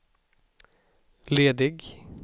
ledig